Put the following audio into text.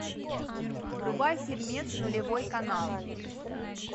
врубай фильмец нулевой канал